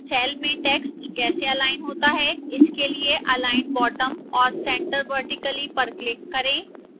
cell में text कैसे align होता है इसके लिए align bottom और centre vertically पर click करें